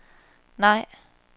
nej